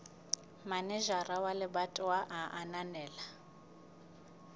manejara wa lebatowa a ananela